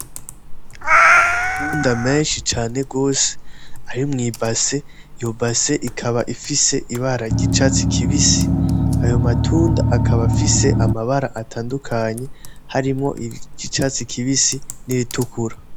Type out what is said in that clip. Amatunda menshi cane gose ari mw'ibase iyo base ikaba ifise ibara ry'icatsi kibisi ayo matunda akaba afise amabara atandukanye harimwo iry'icatsi kibisi n'iritukura